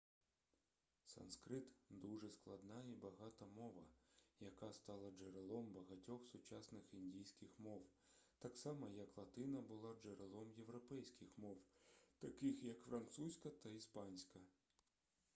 санскрит дуже складна і багата мова яка стала джерелом багатьох сучасних індійських мов так само як латина була джерелом європейських мов таких як французька та іспанська